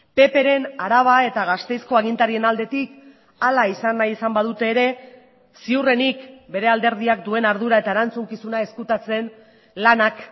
ppren araba eta gasteizko agintarien aldetik hala izan nahi izan badute ere ziurrenik bere alderdiak duen ardura eta erantzukizuna ezkutatzen lanak